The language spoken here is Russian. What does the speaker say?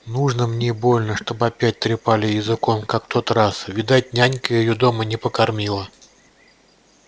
нужно мне больно чтоб опять трепали языком как в тот раз видать нянька её дома не покормила